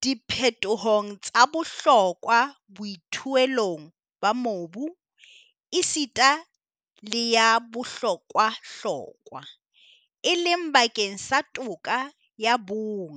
diphetohong tsa bohlokwa boithuelong ba mobu, esita le ya bohlokwahlokwa, e leng bakeng sa toka ya bong.